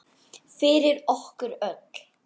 Fyrir okkur öll.